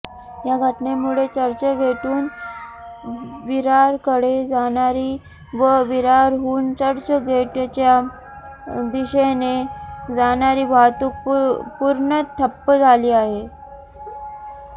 या घटनेमुळे चर्चगेटहून विरारकडे जाणारी व विरारहून चर्चगेटच्या दिशेने जाणारी वाहतूक पूर्णतः ठप्प झाली आहे